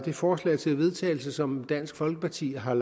det forslag til vedtagelse som dansk folkeparti har